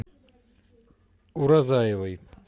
уразаевой